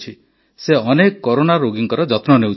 ସେ ଅନେକ କରୋନା ରୋଗୀଙ୍କ ଯତ୍ନ ନେଉଛନ୍ତି